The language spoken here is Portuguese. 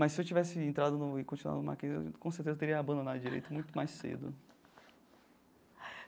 Mas se eu tivesse entrado e continuado no Mackenzie, eu com certeza teria abandonado direito muito mais cedo.